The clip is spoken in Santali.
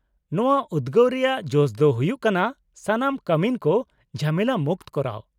-ᱱᱚᱶᱟ ᱩᱫᱜᱟᱹᱣ ᱨᱮᱭᱟᱜ ᱡᱚᱥ ᱫᱚ ᱦᱩᱭᱩᱜ ᱠᱟᱱᱟ ᱥᱟᱱᱟᱢ ᱠᱟᱹᱢᱤᱱ ᱠᱚ ᱡᱷᱟᱢᱮᱞᱟ ᱢᱩᱠᱛᱚ ᱠᱚᱨᱟᱣ ᱾